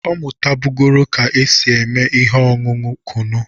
Ọ mụtabụgoro ka e si esi ihe ọñụñụ kụnụ.